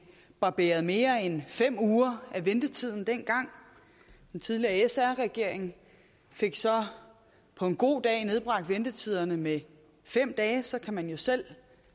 barberet mere end fem uger af ventetiden dengang den tidligere sr regering fik så på en god dag nedbragt ventetiderne med fem dage så kan man jo selv